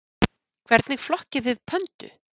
Hvernig flokkið þið pöndu?